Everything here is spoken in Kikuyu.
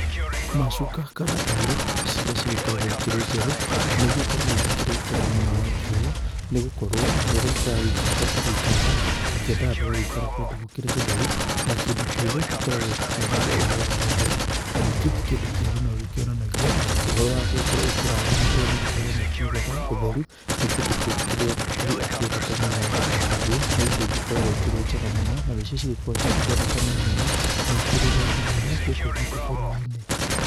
Macuka kana taurũ ciria cigĩkoragwo ĩkĩrĩ njerũ nĩĩgĩkoragwo igĩkĩrĩ njega mũno rangi ũyũ, nĩ gũkorwo rĩrĩa tũragĩikara ũrĩa tũgĩikaraga tukĩendaga tũgagĩikara kũndũ gũkĩrĩ gũtheru, na kĩndũ kĩerũ gĩkoragwo gĩkĩonania ũhoro wa ũtheru. Ningĩ kĩndũ kĩerũ no gĩkĩonanagia ũhoro wa gũgĩkorwo ũkĩrathimĩtwo nĩ gũkorwo makiugaga ũtheru nĩ kĩndũ kĩrĩa Ngai akĩendete mũno. Naguo nĩ indo igĩkoragwo ikĩrĩ njega mũno, na nĩcio cigĩkoragwo cigĩkĩoneka na ihenya, na ĩkĩrĩ raithi mũno gũkũ gwitũ bũrũri-inĩ.